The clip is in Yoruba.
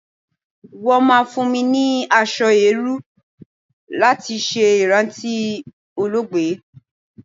Wọ́n máa fún mi ní aṣọ eérú láti ṣe ìrántí olóògbé.